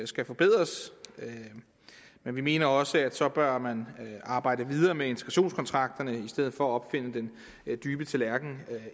skal forbedres men vi mener også at så bør man arbejde videre med integrationskontrakterne i stedet for at opfinde den dybe tallerken